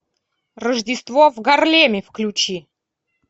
рождество в гарлеме включи